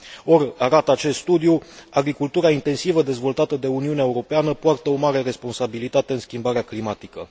Or, arată acest studiu, agricultura intensivă dezvoltată de Uniunea Europeană poartă o mare responsabilitate în schimbarea climatică.